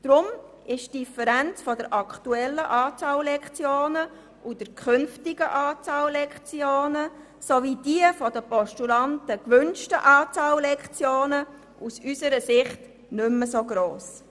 Deshalb ist die Differenz zwischen der aktuellen und der künftigen Anzahl Lektionen sowie der von den Postulanten gewünschten Anzahl Lektionen aus unserer Sicht nicht mehr so gross.